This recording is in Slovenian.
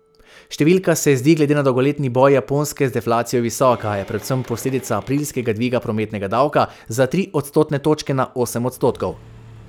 Številka se zdi glede na dolgoletni boj Japonske z deflacijo visoka, a je predvsem posledica aprilskega dviga prometnega davka za tri odstotne točke na osem odstotkov.